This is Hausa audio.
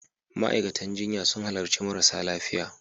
Ma'aikatan jinya sun halarci marasa lafiya.